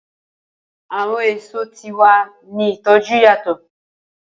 Awọn eso ti wa ni itoju yatọ.